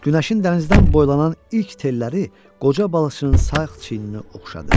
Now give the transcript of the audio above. Günəşin dənizdən boylanan ilk telləri qoca balıçının sağ çiyinini oxşadı.